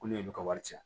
Ko n'u y'olu ka wari ci